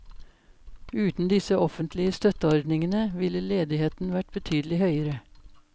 Uten disse offentlige støtteordningene ville ledigheten vært betydelig høyere.